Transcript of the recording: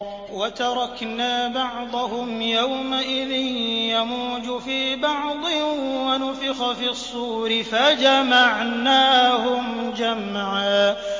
۞ وَتَرَكْنَا بَعْضَهُمْ يَوْمَئِذٍ يَمُوجُ فِي بَعْضٍ ۖ وَنُفِخَ فِي الصُّورِ فَجَمَعْنَاهُمْ جَمْعًا